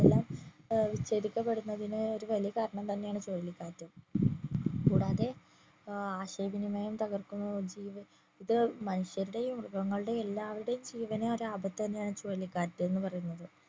ഇതെല്ലം ഏർ വിച്ഛേദിക്കപ്പെടുന്നതിന് ഒരു വലിയ കാരണം തന്നെ ആണ് ചുഴലിക്കാറ്റ് കൂടാതെ ആശയവിനിമയം തകർക്കുന്നതും ഇത് മനുഷ്യരുടെയും മൃഗങ്ങളുടെയും എല്ലാവരുടെയും ജീവന് ഒര് ആപത്ത് തന്നെ ആണ് ഈ ചുഴലിക്കാറ്റ് എന്ന് പറയുന്നത്